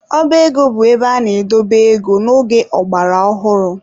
Ọba ego bụ ebe ana-edobe ego n'oge ọgbara ọhụrụ.